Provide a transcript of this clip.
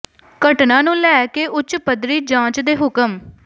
ਘਟਨਾ ਨੂੰ ਲੈ ਕੇ ਉੱਚ ਪੱਧਰੀ ਜਾਂਚ ਦੇ ਹੁਕਮ